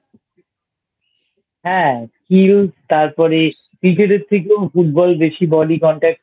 হ্যাঁ তারপরে Cricket এর থেকেও Football এ বেশি Body Contact